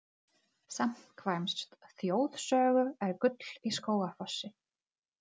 Samkvæmt þjóðsögu er gull í Skógafossi.